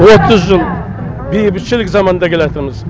отыз жыл бейбітшілік заманда келатырмыз